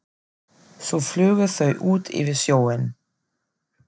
Svo flugu þau út yfir sjóinn.